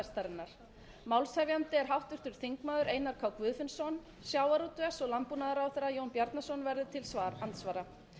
hrossapestarinnar málshefjandi er háttvirtur þingmaður einar k guðfinnsson sjávarútvegs og landbúnaðarráðherra jón bjarnason verður til andsvara